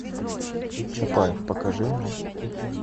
чапаев покажи мне